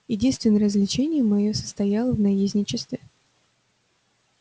единственное развлечение моё состояло в наездничестве